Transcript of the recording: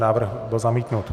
Návrh byl zamítnut.